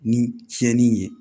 Ni tiɲɛni ye